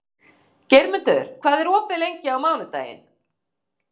Geirmundur, hvað er opið lengi á mánudaginn?